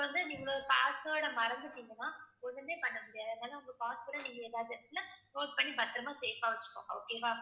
இப்ப வந்து நீங்க password அ மறந்துட்டீங்கன்னா ஒண்ணுமே பண்ண முடியாது அதனால உங்க password அ நீங்க ஏதாவது இடத்துல close பண்ணி பத்திரமா safe ஆ வச்சுக்கோங்க okay வா